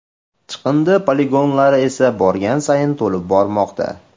Chiqindi poligonlari esa borgan sayin to‘lib bormoqda.